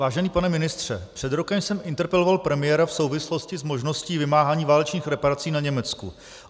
Vážený pane ministře, před rokem jsem interpeloval premiéra v souvislosti s možností vymáhání válečných reparací na Německu.